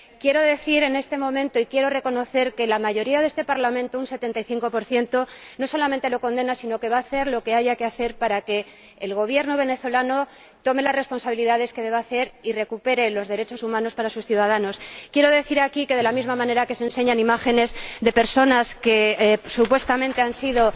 Quiero decir en este momento, y quiero reconocer, que la mayoría de este Parlamento, un 75 no solamente la condena sino que va a hacer lo que haya que hacer para que el Gobierno venezolano asuma las responsabilidades que deba asumir y recupere los derechos humanos para sus ciudadanos. Quiero decir aquí que, de la misma manera que se enseñan imágenes de personas que supuestamente han sido...,